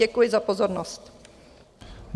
Děkuji za pozornost.